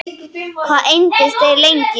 Hvað entust þeir lengi?